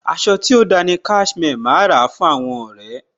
Aṣọ tí ó da ni Cashmere. Màá ra fún àwọn ọ̀rẹ́.